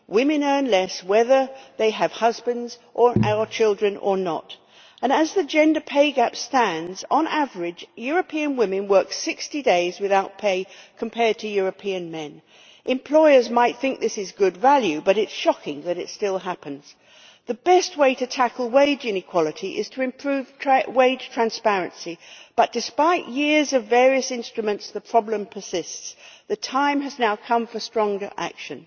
Women earn less whether they have husbands or children or not. As the gender pay gap stands, on average European women work 60 days without pay compared to European men. Employers might think this is good value, but it is shocking that it still happens. The best way to tackle wage inequality is to improve wage transparency but, despite years of various instruments, the problem persists. The time has now come for stronger action.